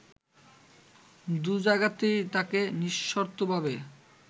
দুজায়গাতেই তাকে নিঃশর্তভাবে